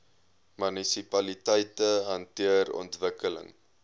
munisipaliteite hanteer ontwikkeling